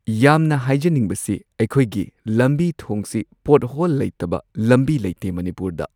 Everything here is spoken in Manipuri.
ꯌꯥꯝꯅ ꯍꯥꯏꯖꯅꯤꯡꯕꯁꯤ ꯑꯩꯈꯣꯏꯒꯤ ꯂꯝꯕꯤ ꯊꯣꯡꯁꯤ ꯄꯣꯠꯍꯣꯜ ꯂꯩꯇꯕ ꯂꯝꯕꯤ ꯂꯩꯇꯦ ꯃꯅꯤꯄꯨꯔꯗ